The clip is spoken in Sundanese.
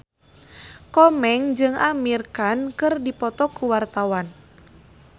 Komeng jeung Amir Khan keur dipoto ku wartawan